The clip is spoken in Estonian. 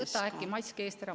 Võta äkki mask eest ära.